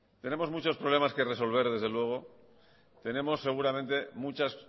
tenemos muchos problemas que resolver desde luego tenemos seguramente muchas